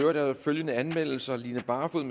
er der følgende anmeldelser line barfod